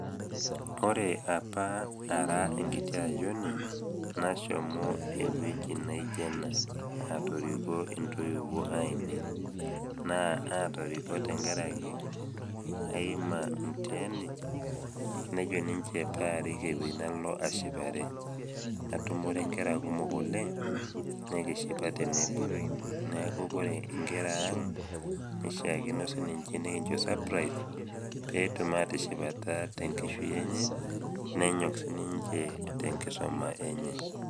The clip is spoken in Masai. Ore opa ara enkiti ayiouni, nashomo ewueji naijo ena, natooriko tenkarake aima mutiaani enjoy ninche pee arik ewueji nalo ashipare, natumore inkera kumok oleng' nekishipa tenebo, neaku Kore inkera aang', keishaakino siininye nikincho surprise pee etum atishipata te enkishui enye nenyok siininye te enkisuma enye.